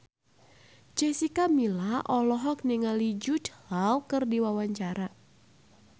Jessica Milla olohok ningali Jude Law keur diwawancara